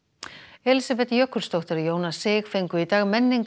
Elísabet Jökulsdóttir og Jónas sig fengu í dag